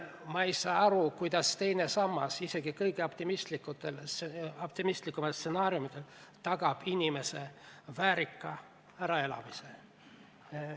Ma ei saa aru, kuidas teine sammas isegi kõige optimistlikuma stsenaariumi korral tagab inimese väärika äraelamise.